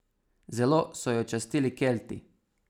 Zelo so jo častili Kelti.